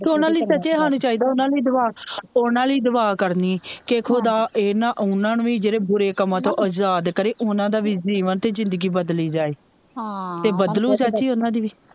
ਤੇ ਓਹਨਾ ਲਈ ਚਾਚੀ ਹਾਨੂੰ ਚਾਹੀਦਾ ਵਾ ਓਹਨਾ ਲਈ ਦੁਆ ਕਰਨੀ ਕੇ ਖੁਦਾ ਇਹਨਾਂ ਓਹਨਾ ਨੂੰ ਵੀ ਜਿਹੜੇ ਬੁਰੇ ਕੰਮਾਂ ਤੋਂ ਵੀ ਆਜ਼ਾਦ ਕਰੇ ਓਹਨਾ ਦਾ ਵੀ ਜੀਵਨ ਤੇ ਜ਼ਿੰਦਗੀ ਬਦਲੀ ਜਾਏ ਤੇ ਬਦਲੂ ਚਾਚੀ ਓਹਨਾ ਦੀ ਵੀ